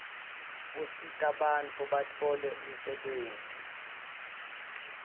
usitabantfu batfole umsebtniti